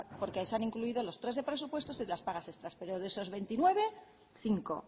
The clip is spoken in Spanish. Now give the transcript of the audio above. porque se han incluido los tres de presupuestos y las pagas extras pero de esos veintinueve cinco